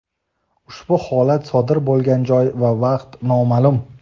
Ushbu holat sodir bo‘lgan joy va vaqt nomaʼlum.